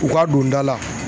U ka don da la